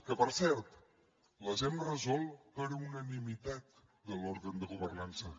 que per cert les hem resolt per unanimitat de l’òrgan de governança